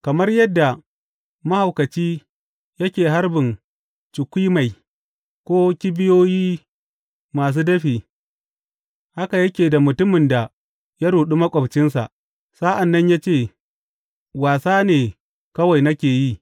Kamar yadda mahaukaci yake harbin cukwimai ko kibiyoyi masu dafi haka yake da mutumin da ya ruɗe maƙwabci sa’an nan ya ce, Wasa ne kawai nake yi!